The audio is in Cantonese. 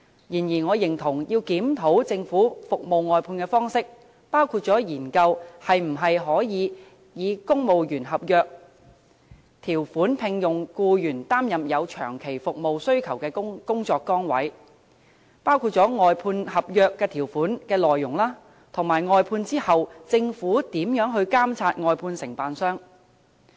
然而，我認同要檢討政府服務外判的方式，包括研究可否以公務員合約條款聘用僱員擔任有長期服務需求的工作崗位、外判合約條款的內容，以及服務外判後政府如何監察外判承辦商。